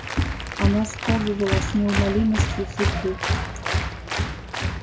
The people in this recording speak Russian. она сковывала с неумолимостью судьбы